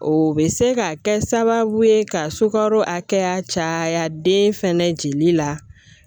O bɛ se ka kɛ sababu ye ka sukaro hakɛya caya den fɛnɛ jeli la